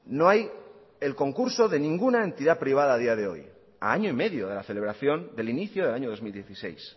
no hay el concurso de ninguna entidad privada a día de hoy a año y medio de la celebración del inicio del año dos mil dieciséis